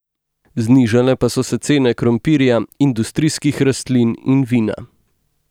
Znižale pa so se cene krompirja, industrijskih rastlin in vina.